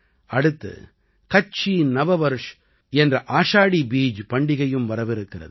அடுத்து கச்சீ நவவர்ஷ் என்ற ஆஷாடீ பீஜ் பண்டிகையும் வரவிருக்கிறது